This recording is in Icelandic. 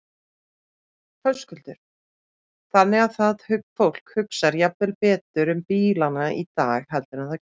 Höskuldur: Þannig að fólk hugsar jafnvel betur um bílana í dag heldur en það gerði?